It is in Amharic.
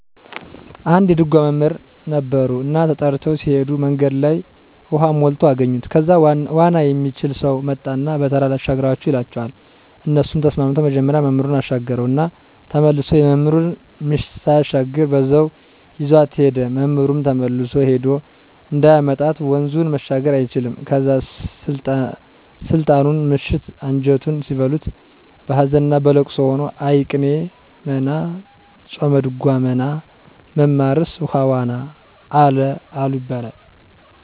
አንድ የድጓ መምህር ነበረ እና ተጠርተው ሲሄዱ መንገድ ላይ ውሃ ሞልቶ አገኙት ከዛ ዋና የሚችል ሰው መጣና በተራ ላሻግራቹ ይላቸዋል እነሱም ተስማምተው መጀመሪያ መምህሩን አሻገረው እና ተመሶ የመምህሩን ምሽት ሳያሻግር በዛው ይዟት ሄደ፤ መምህሩም ተመልሶ ሄዶ እንዳያመጣት ወንዙን መሻገር አይችልም ከዛ ስልጣኑና ምሽቱ አንጀቱን ሲበሉት በሀዘንና በልቅሶ ሆኖ እይ ቅኔ መና ጾመድጓ መና መማርስ ውሃ ዋና አለ ይባላል።